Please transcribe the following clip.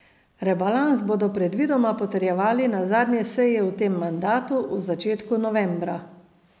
Rebalans bodo predvidoma potrjevali na zadnji seji v tem mandatu, v začetku novembra.